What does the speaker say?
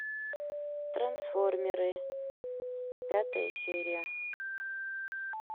трансформеры пятая серия